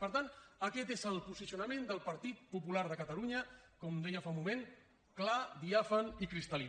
per tant aquest és el posicionament del partit popular de catalunya com deia fa un moment clar diàfan i cristal·lí